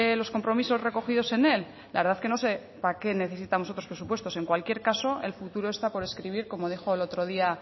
los compromisos recogidos en él la verdad que no sé para qué necesitamos otros presupuestos en cualquier caso el futuro está por escribir como dijo el otro día